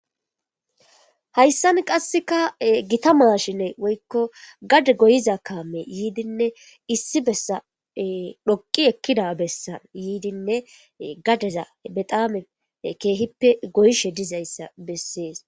hayssan qasseka gita mashine woykko gade goyiza kaame yiidinne issi bessa dhoqi ekkida bessa yiidinne gadeza bedaamen keehippe goyishe dizayssa bessees